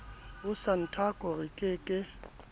ho santaco re ke ke